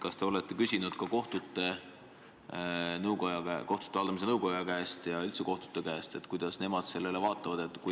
Kas te olete küsinud ka kohtute haldamise nõukoja käest ja üldse kohtute käest, kuidas nemad sellele vaatavad?